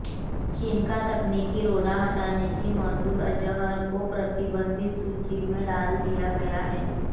चीन का तकनीकी रोड़ा हटते ही मसूद अज़हर को प्रतिबंधित सूची में डाल दिया गया